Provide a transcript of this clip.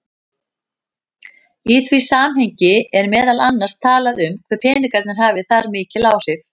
Í því samhengi er meðal annars talað um hve peningar hafi þar mikil áhrif.